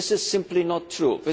This is simply not true